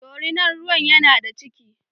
Dorinar ruwan yana da ciki.